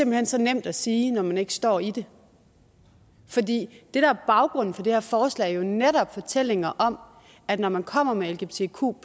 hen så nemt at sige når man ikke står i det fordi det der er baggrunden for det her forslag jo netop er fortællinger om at når man kommer med lgbtq